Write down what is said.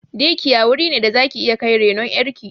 "Day care" wuri ne da zaki iya kai renon ƴar ki